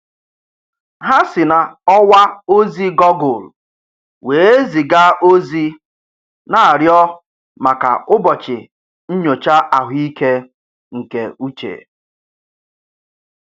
Ha si n'ọwa ozi gọgụl wee ziga ozi na-arịọ maka ụbọchị nnyocha ahụike nke uche